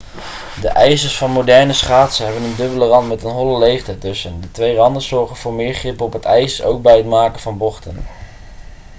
de ijzers van moderne schaatsen hebben een dubbele rand met een holle leegte ertussen de twee randen zorgen voor meer grip op het ijs ook bij het maken van bochten